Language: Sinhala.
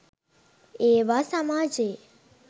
ඒවා සමාජයේ